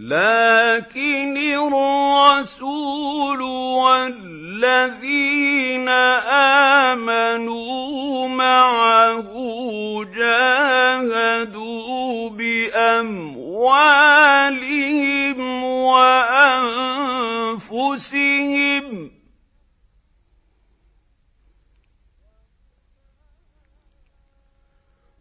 لَٰكِنِ الرَّسُولُ وَالَّذِينَ آمَنُوا مَعَهُ جَاهَدُوا بِأَمْوَالِهِمْ وَأَنفُسِهِمْ ۚ